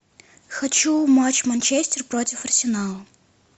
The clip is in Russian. хочу матч манчестер против арсенала